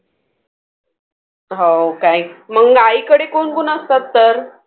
हो काय? मग आईकडे कोण कोण असतात तर?